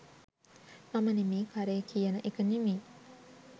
මම නෙවෙයි කරේ කියන එක නෙමෙයි.